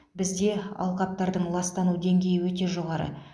бізде алқаптардың ластану деңгейі өте жоғары